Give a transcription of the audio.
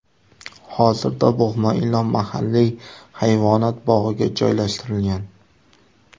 Hozirda bo‘g‘ma ilon mahalliy hayvonot bog‘iga joylashtirilgan.